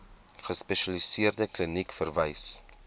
gespesialiseerde kliniek verwys